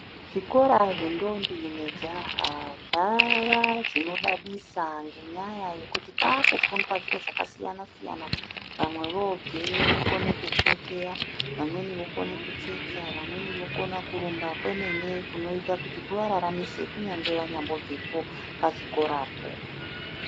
Zvikora zvendombi nejaha zvava zvinodadisa ngenyaya yekuti kwakufundwa zviro zvakasiyana siyana vamwe vobveyo vokone kukikiya vamweni vokone kutsetsa vamweni kurumba kwemene kunoita kuti kuvararamise kunyangwe vabvepo pachikorapo.